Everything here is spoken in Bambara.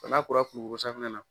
n'a kora kulukorosafunɛ na